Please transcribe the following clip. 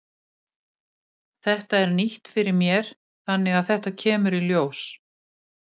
Þetta er nýtt fyrir mér þannig að þetta kemur í ljós.